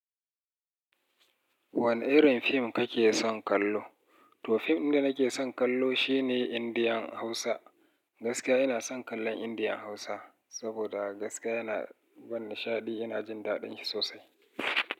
Wane irin fim kake son kallo? To, fim ɗin da nake son kallo shine Indian Hausa. Gaskiya ina son kallon Indian Hausa, saboda gaskiya yana bani nishaɗi. Ina jin daɗin shi sosai.